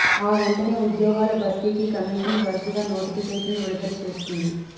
ఆ వెంటనే ఉద్యోగాల భర్తీకి కమిషన్ వరుసగా నోటిఫికేషన్లు విడుదల చేస్తుంది